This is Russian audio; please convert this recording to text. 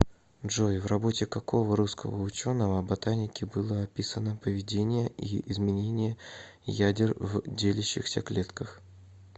джой в работе какого русского ученого ботаники было описано поведение и изменение ядер в делящихся клетках